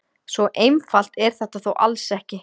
Svo einfalt er þetta þó alls ekki.